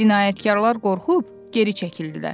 Cinayətkarlar qorxub geri çəkildilər.